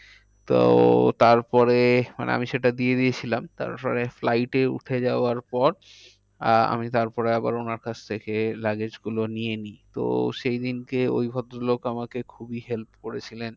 তো তার পরে মানে আমি সেটা দিয়ে দিয়েছিলাম। তারপরে flight এ উঠে যাওয়ার পর আহ আমি তারপরে আবার ওনার কাছ থেকে luggage গুলো নিয়ে নিই। তো সেই দিনকে ওই ভদ্র লোক আমাকে খুবই help করেছিলেন।